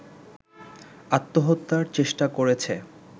আত্মহত্যার চেষ্টা করেছে